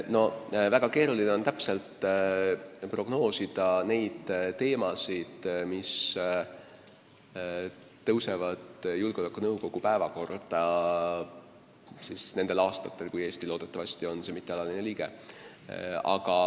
No väga keeruline on täpselt prognoosida neid teemasid, mis tõusevad julgeolekunõukogu päevakorda nendel aastatel, kui Eesti loodetavasti on see mittealaline liige.